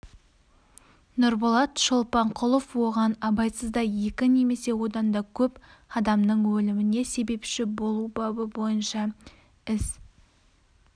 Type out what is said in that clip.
нұрболат шолпанқұлов оған абайсызда екі немесе одан көп адамның өліміне себепші болу бабы бойынша іс